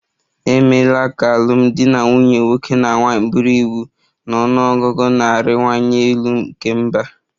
E meela ka alụmdi na nwunye nwoke na nwanyị bụrụ iwu na ọnụ ọgụgụ na-arịwanye elu nke mba